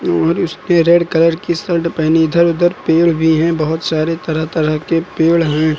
और उसने red colour की शल्ट पहनी इधर उधर पेड़ भी है बहोत सारे तरह तरह के पेड़ हैं।